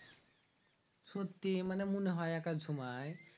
সত্যি মনে হয় একাদ সময়